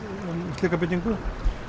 um slíka byggingu